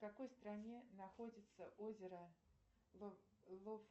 в какой стране находится озеро